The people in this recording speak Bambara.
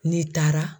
Ne taara